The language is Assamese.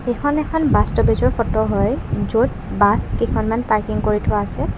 এইখন এখন বাছ ষ্টপেজৰ ফটো হয় য'ত বাছ কেইখনমান পাৰ্কিং কৰি থোৱা আছে।